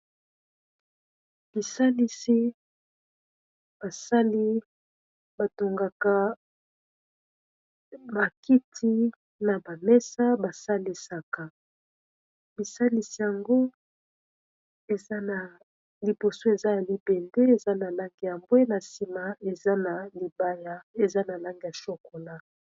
Bisalisi basali batongaka bakiti na bamesa basalisaka bisalisi yango enaliboso eza elipende eza na lange ya mbwe na nsima eza na lange ya shokona.